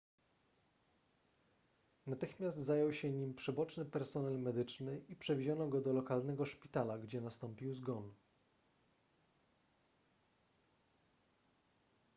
natychmiast zajął się nim przyboczny personel medyczny i przewieziono go do lokalnego szpitala gdzie nastąpił zgon